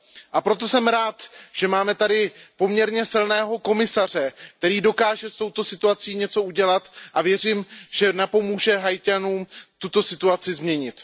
A proto jsem rád, že máme tady poměrně silného komisaře, který dokáže s touto situací něco udělat, a věřím, že napomůže Haiťanům tuto situaci změnit.